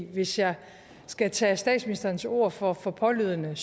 hvis jeg skal tage statsministerens ord for for pålydende